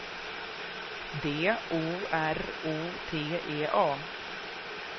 D O R O T E A